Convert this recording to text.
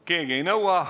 Keegi ei nõua.